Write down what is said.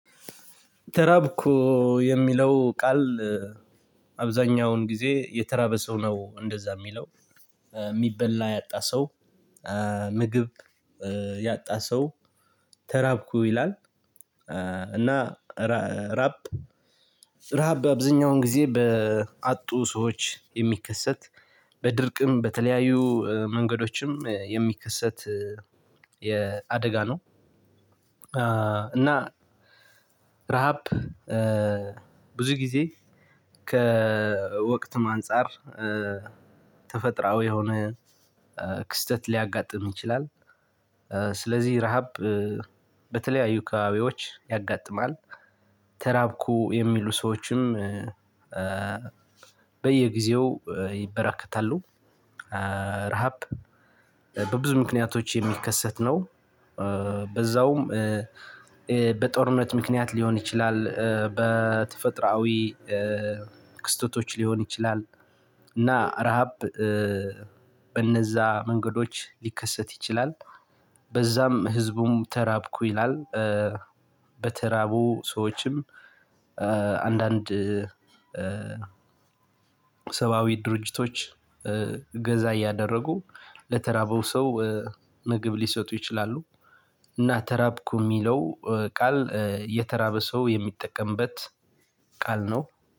ተራብኩ የሚለው ቃል አብዛኛውን ጊዜ የተራበ ሰው ነው እንደዛ የሚለው። የሚበላ ያጣ ሰው ምግብ ያጣ ሰው ተራብኩ ይላል። እና ራብ ረሀብ አብዛኛውን ጊዜ በአጡ ሰዎች የሚከሰት በድርቅም በተለያዩ መንገዶችም የሚከሰት የ አደጋ ነው። እና ረሃብ ብዙ ጊዜ ከወቅትም አንፃር ተፈጥሯዊ የሆነ ክስተት ሊያጋጥም ይችላል። ስለዚህ ረሃብ በተለያዩ አካባቢዎች ያጋጥማል። ተራብኩ የሚሉ ሰዎችም በየጊዜው ይበራከታሉ። ረሃብ በብዙ ምክንያቶች የሚከሰት ነው። በዛውም በጦርነት ምክንያት ሊሆን ይችላል በተፈጥሯዊ ክስተቶች ሊሆን ይችላል። እና ረሃብ በእነዛ መንገዶች ሊከሰት ይችላል በዛም ህዝቡም ተራብኩ ይላል። በተራቡ ሰዎችም አንዳንድ ሰብአዊ ድርጅቶች እገዛ እያደረጉ ለተራበው ሰው ምግብ ሊሰጡ ይችላሉ። እና ተራብኩ የሚለው ቃል የተራበ ሰው የሚጠቀምበት ቃል ነው።